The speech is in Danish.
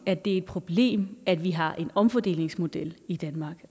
at det er et problem at vi har en omfordelingsmodel i danmark